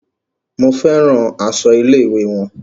Mo fẹ́ràn aṣọ ilé-ìwé wọn.